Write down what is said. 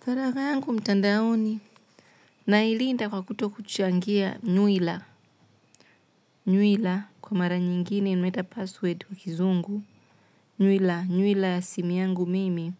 Faragha yangu mtandaoni. Nailinda kwa kutokuchangia nywila. Nywila. Kwa mara nyingine. Tunaita password kwa kizungu. Nywila. Nywila ya simu yangu mimi.